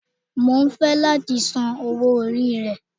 Mo ń fẹ́ láti san owó orí rẹ